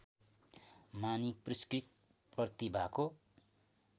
मानी पुरस्कृत प्रतिभाको